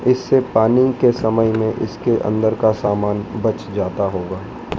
इससे पानी के समय में इसके अंदर का सामान बच जाता होगा।